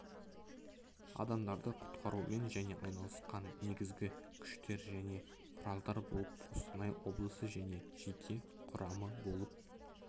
адамдарды құтқарумен және айналысқан негізгі күштер және құралдар болып қостанай облысы және жеке құрамы болып